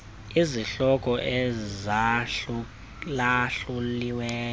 izihloko ezahlula hluliweyo